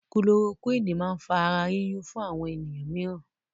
kulorokúwínì máa ń fa ara yíyún fún àwọn ènìyàn míìràn.